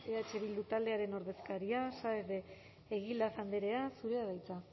eh bildu taldearen ordezkaria saez de egilaz andrea zurea da hitza